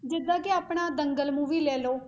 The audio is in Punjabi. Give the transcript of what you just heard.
ਜਿੱਦਾਂ ਕਿ ਆਪਣਾ ਦੰਗਲ movie ਲੈ ਲਓ